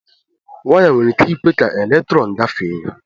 waya nwere ike ikwe ka elektrọn gafee ya